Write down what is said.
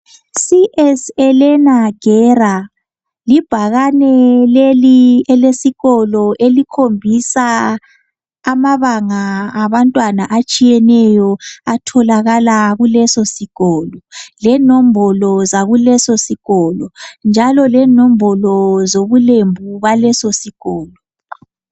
C.S.Elena Guera libhakane lesikolo elitshengisa amabanga abantwana besikolo atholakala kulesosikolo lenombolo bobulembu baleso sikolo.